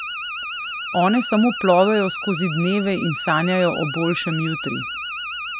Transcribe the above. One samo plovejo skozi dneve in sanjajo o boljšem jutri.